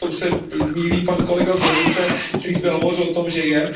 V tom se mýlí pan kolega z levice, který zde hovořil o tom, že je.